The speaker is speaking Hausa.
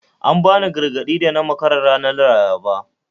An bani gargadi da na makara ranar Laraba